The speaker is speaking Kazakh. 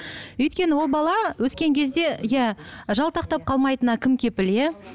өйткені ол бала өскен кезде иә жалтақтап қалмайтынына кім кепіл иә